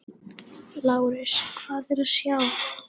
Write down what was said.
LÁRUS: Hvað er að sjá?